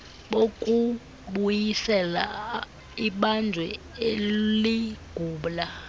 bokubuyisela ibanjwa eligula